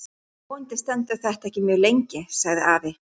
Vonandi stendur þetta ekki mjög lengi sagði afi.